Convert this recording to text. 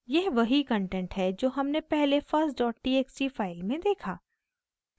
यह वही कंटेंट है जो हमने पहले first dot txt फाइल में देखा